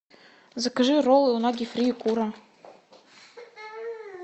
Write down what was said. закажи роллы унаги фри и кура